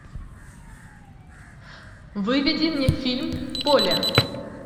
выведи мне фильм поле